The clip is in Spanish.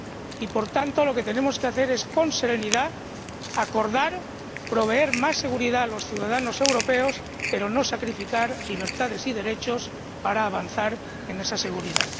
Y, por tanto, lo que tenemos que hacer es, con serenidad, acordar, proveer más seguridad a los ciudadanos europeos, pero no sacrificar libertades y derechos para avanzar en esa seguridad.